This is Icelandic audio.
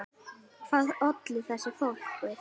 Hvað olli þessari fólsku?